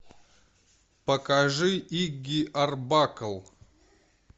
покажи игги арбакл